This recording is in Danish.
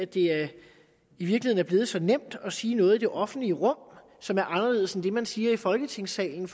det i virkeligheden er blevet så nemt at sige noget i det offentlige rum som er anderledes end det man siger i folketingssalen